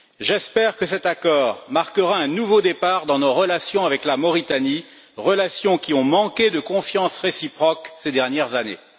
J'espère que cet accord marquera un nouveau départ dans nos relations avec la Mauritanie, relations qui ont manqué de confiance réciproque ces dernières années.